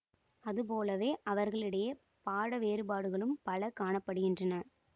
அதுபோலவே அவர்களிடையே பாட வேறுபாடுகளும் பல காண படுகின்றன